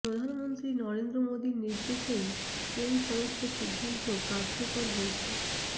প্রধানমন্ত্রী নরেন্দ্র মোদির নির্দেশেই এই সমস্ত সিদ্ধান্ত কার্যকর হয়েছে